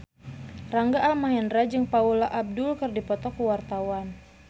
Rangga Almahendra jeung Paula Abdul keur dipoto ku wartawan